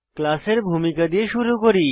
class এর ভূমিকা দিয়ে শুরু করি